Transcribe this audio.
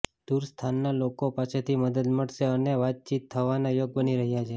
દૂર સ્થાનના લોકો પાસેથી મદદ મળશે અને વાતચીત થવાના યોગ બની રહ્યા છે